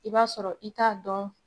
I b'a sɔrɔ i t'a dɔn